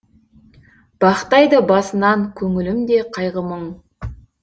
бақ тайды басынан көңілімде кайғы мұң